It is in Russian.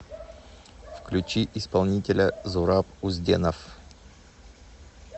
включи исполнителя зураб узденов